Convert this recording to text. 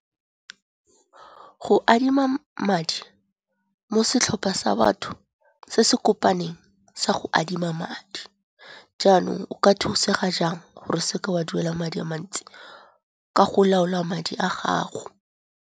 Go adima madi mo setlhopha sa batho se se kopaneng sa go adima madi. Jaanong o ka thusega jang gore o seke wa duela madi a mantsi, ka go laola madi a gago.